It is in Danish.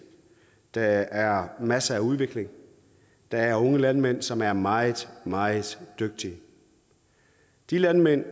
der er masser af udvikling der er unge landmænd som er meget meget dygtige de landmand